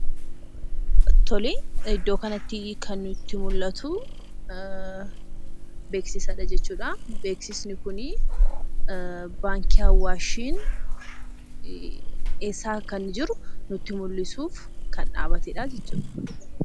Iddoo kanatti kan nutti mul'atu, beeksisadha jechuudha. Beeksisti kun baankiin Awaash eessa akka inni jiru kan nutti mul'isuuf kan dhabbatedha jechuudha.